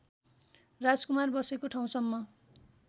राजकुमार बसेको ठाउँसम्म